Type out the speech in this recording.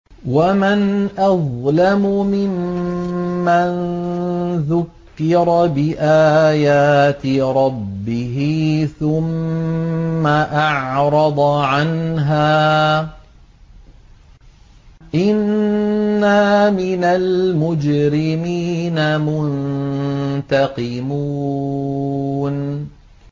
وَمَنْ أَظْلَمُ مِمَّن ذُكِّرَ بِآيَاتِ رَبِّهِ ثُمَّ أَعْرَضَ عَنْهَا ۚ إِنَّا مِنَ الْمُجْرِمِينَ مُنتَقِمُونَ